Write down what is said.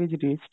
ଯେମତି ସେମାନେ